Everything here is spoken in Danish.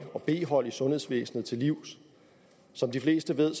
og b hold i sundhedsvæsenet til livs som de fleste ved